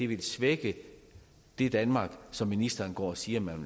vil svække det danmark som ministeren går og siger man